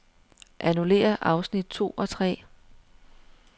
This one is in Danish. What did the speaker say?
Annullér afsnit to og tre.